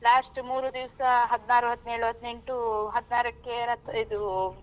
Last ಮೂರೂ ದಿವ್ಸ ಹದಿನಾರು ಹದಿನೇಳು ಹದಿನೆಂಟು ಹದಿನಾರಕ್ಕೆ ರಥ ಇದು.